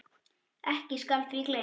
Ekki skal því gleymt.